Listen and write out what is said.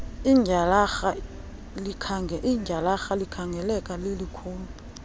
ityhalarha likhangeleka lilikhulu